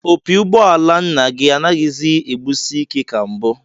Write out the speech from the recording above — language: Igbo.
Opi ụgbọala nna gị anaghịzi egbusi ike ka mbụ